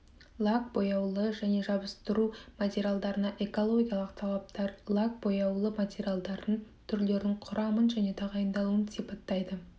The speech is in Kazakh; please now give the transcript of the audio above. лак бояулы және жабыстыру материалдарына экологиялық талаптар лак бояулы материалдардың түрлерін құрамын және тағайындалуын сипаттайды